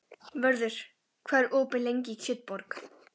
Vörður, hvað er opið lengi í Kjötborg?